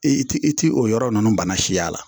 I ti i ti o yɔrɔ ninnu bana si y'a la